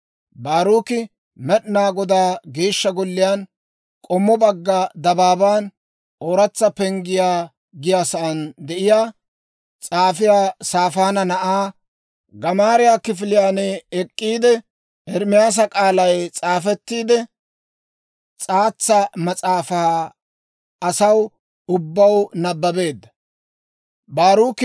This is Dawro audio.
Baaruki Med'inaa Godaa Geeshsha Golliyaan, k'ommo bagga dabaaban, Ooratsa Penggiyaa giyaasan de'iyaa, s'aafiyaa Saafaana na'aa, Gamaariyaa kifiliyaan ek'k'iide, Ermaasa k'aalay s'aafettiide s'aatsa mas'aafaa asaw ubbaw nabbabeedda.